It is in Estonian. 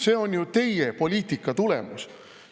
See on ju teie poliitika tulemus.